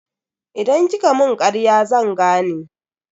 Idan kika mun karya zan gane.